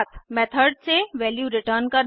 method से value return करना